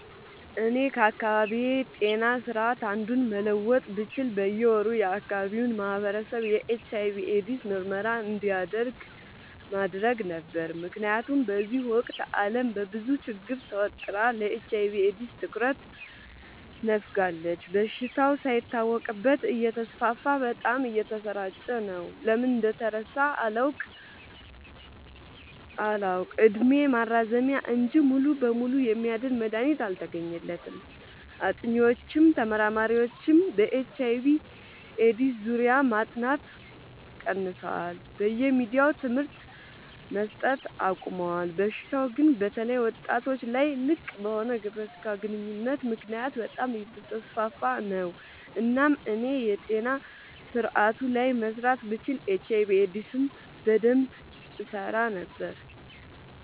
እኔ ከአካባቢዬ ጤና ስርዓት አንዱን መለወጥ ብችል በየ ወሩ የአካባቢው ማህበረሰብ የኤች/አይ/ቪ ኤድስ ምርመራ እንዲያደርግ አደረግ ነበር። ምክንያቱም በዚህ ወቅት አለም በብዙ ችግር ተወጥራ ለኤች/አይ/ቪ ኤድስ ትኩረት ነፋጋለች። በሽታው ሳይታወቅበት እተስፋፋ በጣም እየተሰራጨ ነው። ለምን እንደተረሳ አላውቅ እድሜ ማራዘሚያ እንጂ ሙሉ በሙሉ የሚያድን መድሀኒት አልተገኘለትም ጥኒዎችም ተመራማሪዎችም በኤች/አይ/ቪ ኤድስ ዙሪያ ማጥናት ቀንሰዋል በየሚዲያውም ትምህርት መሰት አቆሞል። በሽታው ግን በተለይ ወጣቶች ላይ ልቅበሆነ ግብረ ስጋ ግንኙነት ምክንያት በጣም አየተስፋፋ ነው። እናም እኔ የጤና ስረአቱ ላይ መስራት ብችል ኤች/አይ/ቪ ኤድስ ላይ በደንብ እሰራ ነበር።